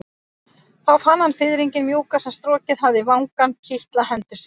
Þá fann hann fiðringinn mjúka sem strokið hafði vangann kitla hendur sínar.